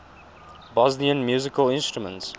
bosnian musical instruments